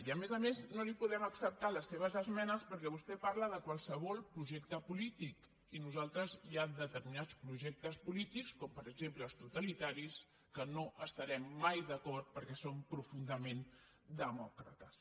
i a més a més no li podem acceptar les seves esmenes perquè vostè parla de qualsevol projecte polític i nosaltres hi ha determinats projectes polítics com per exemple els totalitaris amb què no estarem mai d’acord perquè som profundament demòcrates